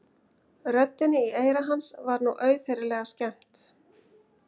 Röddinni í eyra hans var nú auðheyrilega skemmt.